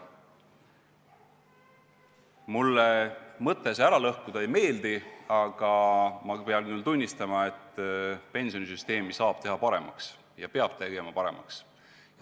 Mulle see mõte süsteemi ära lõhkuda ei meeldi, aga samas pean tunnistama, et pensionisüsteemi saab teha paremaks ja peab tegema paremaks.